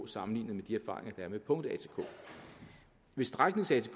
sammenlignet med de erfaringer er med punkt atk ved stræknings atk